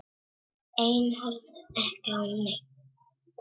Ein horfði ekki á neinn.